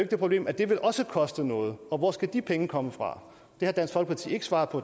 det problem at det også vil koste noget og hvor skal de penge komme fra det har dansk folkeparti ikke svaret på